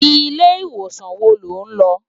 Ilé iwósan wó ló n lò?